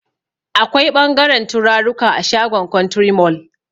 Akwai ɓangaren turaruka a shagon kwantiri mol